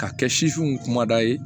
Ka kɛ sifinw kumada ye